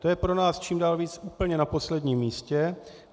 To je pro nás čím dál víc úplně na posledním místě.